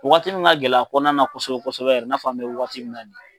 Wagati min ka gɛlɛn kɔnɔna na kosɛbɛ kosɛkɛ yɛrɛ i n'a fɔ an bɛ wagati min na nin ye